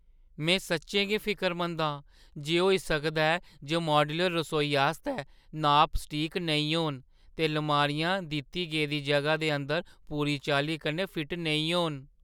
में सच्चें गै फिकरमंद आं जे होई सकदा ऐ जे माड्यूलर रसोई आस्तै नाप सटीक नेईं होन, ते लमारियां दित्ती गेदी जगह दे अंदर पूरी चाल्ली कन्नै फिट नेईं होन।